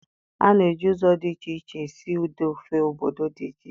A na-eji ụzọ dị iche iche esi ụdị ofe obodo dị iche iche